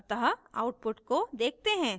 अतः output को देखते हैं